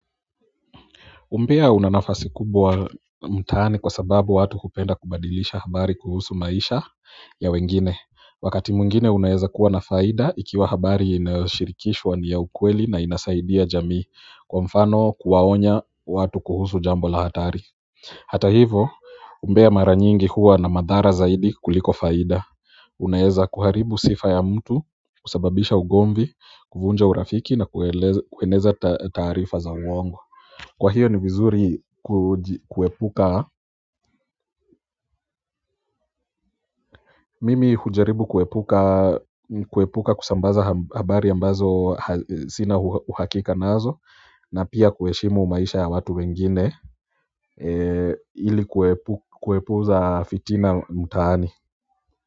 Umbea una nafasi kubwa mtaani kwa sababu watu hupenda kubadilisha habari kuhusu maisha ya wengine, wakati mwingine unaeza kuwa na faida ikiwa habari inayoshirikishwa ni ya ukweli na inasaidia jamii, kwa mfano kuwaonya watu kuhusu jambo la hatari. Hata hivo umbea mara nyingi huwa na madhara zaidi kuliko faida unaweza kuharibu sifa ya mtu, kusababisha ugomvi, kuvunja urafiki na kueleza kueneza taarifa za uwongo. Kwa hio ni vizuri kuji, kuepuka mimi hujaribu kuepuka kusambaza habari ambazo sina uhakika nazo na pia kuheshimu maisha ya watu wengine ili kuwepuza fitina mtaani.